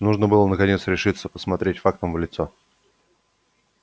нужно было наконец решиться посмотреть фактам в лицо